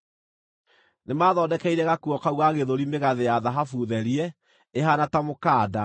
Nĩmathondekeire gakuo kau ga gĩthũri mĩgathĩ ya thahabu therie, ĩhaana ta mũkanda.